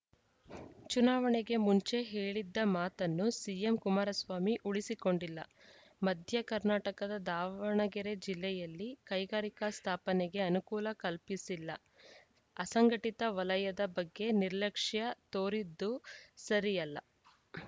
ಚುನಾವಣೆಗೆ ಮುಂಚೆ ಹೇಳಿದ್ದ ಮಾತನ್ನು ಸಿಎಂ ಕುಮಾರಸ್ವಾಮಿ ಉಳಿಸಿಕೊಂಡಿಲ್ಲ ಮಧ್ಯ ಕರ್ನಾಟಕದ ದಾವಣಗೆರೆ ಜಿಲ್ಲೆಯಲ್ಲಿ ಕೈಗಾರಿಕೆ ಸ್ಥಾಪನೆಗೆ ಅನುಕೂಲ ಕಲ್ಪಿಸಿಲ್ಲ ಅಸಂಘಟಿತ ವಲಯದ ಬಗ್ಗೆ ನಿರ್ಲಕ್ಷ್ಯ ತೋರಿದ್ದು ಸರಿಯಲ್ಲ